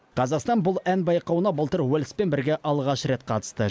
қазақстан бұл ән байқауына былтыр уэльспен бірге алғаш рет қатысты